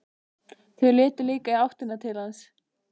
Þau litu líka í áttina til hans.